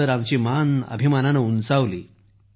तर आमची मान अभिमानानं ताठ झाली